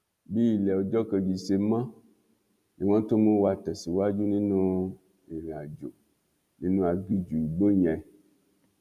bí ilé ọjọ kejì ṣe mọ ni wọn tún mú wa tẹsíwájú nínú ìrìnàjò nínú aginjù igbó yẹn